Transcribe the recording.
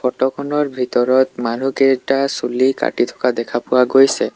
Photo খনৰ ভিতৰত মানুহকেইটা চুলি কাটি থকা দেখা পোৱা গৈছে।